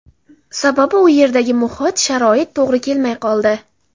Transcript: Sababi u yerdagi muhit, sharoit to‘g‘ri kelmay qoldi.